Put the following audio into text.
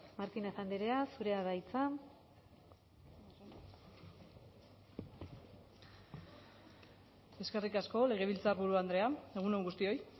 martinez andrea zurea da hitza eskerrik asko legebiltzarburu andrea egun on guztioi